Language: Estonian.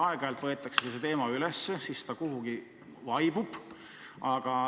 Aeg-ajalt võetakse see teema üles, siis see aga kuidagi vaibub.